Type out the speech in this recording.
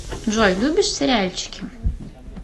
джой любишь сериальчики